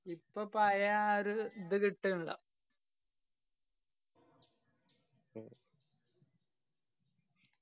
ഇപ്പൊ പയ ആ ഒരു ഇത് കിട്ടണില്ല